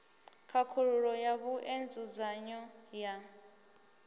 khakhululo ya vhue nzudzanyo ya